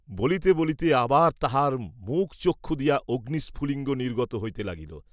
বলিতে বলিতে আবার তাহার মুখচক্ষু দিয়া অগ্নিস্ফুলিঙ্গ নির্গত হইতে লাগিল।